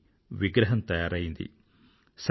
చివరికి విగ్రహం తయారైంది